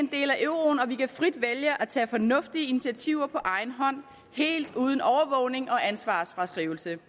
euroen og vi kan frit vælge at tage fornuftige initiativer på egen hånd helt uden overvågning og ansvarsfraskrivelse